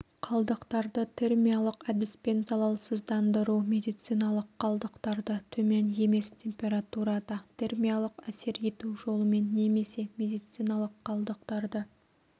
қалдықтарды термиялық әдіспен залалсыздандыру медициналық қалдықтарды төмен емес температурада термиялық әсер ету жолымен немесе медициналық қалдықтарды